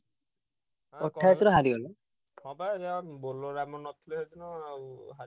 ହଁ ବା ଏୟା bowler ଆମର ନ ଥିଲେ ତ ଆଉ।